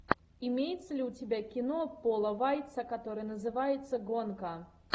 имеется ли у тебя кино пола вайца которое называется гонка